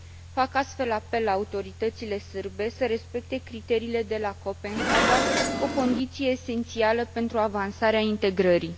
Fac astfel apel la autoritățile sârbe să respecte criteriile de la Copenhaga, o condiție esențială pentru avansarea integrării.